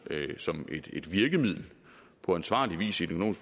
som et virkemiddel på ansvarlig vis i den